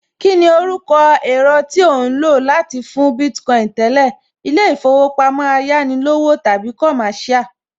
Kíni orúkọ èro tí ò ń lò láti fún Bitcoin tẹ́lẹ̀? Ilé ìfowópamọ́ Ayánilówó tàbí Commercial?